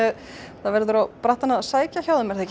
það verður á brattann að sækja hjá þeim ekki